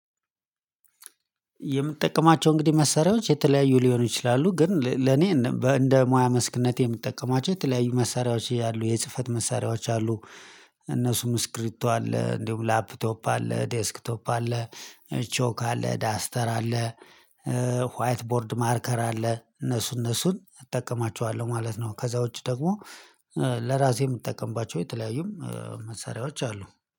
የምጠቀማቸው እንግዲህ መሳሪያዎች የተለያዩ ሊሆኑ ይችላሉ ግን ለኔ እንደ ሙያ መስክነቴ የምጠቀማቸው የተለያዩ መሳሪያዎች ያሉ የጽህፈት መሳሪያዎች አሉ። እነሱም እስክብሪቶ አለ እንዲሁም ላፕቶፕ አለ ዴስክቶፕ አለ። ቾክ አለ ዳስተር አለ። ዋይት ቦርድ ማርከር አለ እነሱ እነሱን እጠቀማቸዋለሁ ማለት ነው። ከዛ ውጪ ደግሞ ለራሴ የምጠቀምባቸው የተለያዩም መሳሪያዎች አሉ።